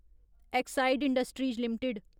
Exide industries limited